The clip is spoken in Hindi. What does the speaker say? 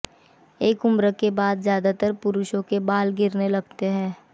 एक उम्र के बाद ज्यादातर पुरुषों के बाल गिरने लगते हैं